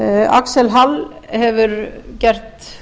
axel hall hefur gert